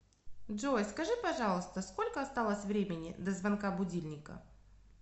джой скажи пожалуйста сколько осталось времени до звонка будильника